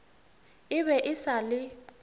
e be e sa le